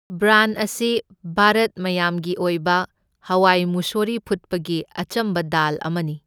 Burn ꯑꯁꯤ ꯚꯥꯔꯠ ꯃꯌꯥꯝꯒꯤ ꯑꯣꯏꯕ ꯍꯋꯥꯏ ꯃꯨꯁꯣꯔꯤ ꯐꯨꯠꯄꯒꯤ ꯑꯆꯝꯕ ꯗꯥꯜ ꯑꯃꯅꯤ꯫